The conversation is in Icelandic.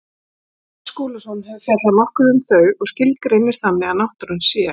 Páll Skúlason hefur fjallað nokkuð um þau og skilgreinir þannig að náttúran sé.